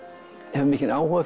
hefur mikinn áhuga